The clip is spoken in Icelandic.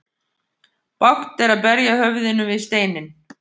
Bágt er að berja höfðinu við steinninn.